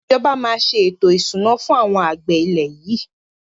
Ìjọba máa se ètò ìṣúná fún àwọn àgbẹ̀ ilẹ̀ yìí